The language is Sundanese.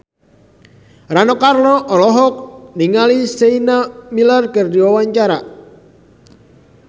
Rano Karno olohok ningali Sienna Miller keur diwawancara